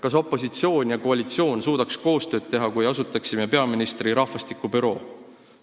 Kas opositsioon ja koalitsioon suudaks koostööd teha, kui asutaksime peaministri rahvastikubüroo?